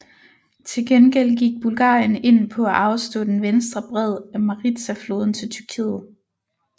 Til gengæld gik Bulgarien ind på at afstå den venstre bred af Maritsafloden til Tyrkiet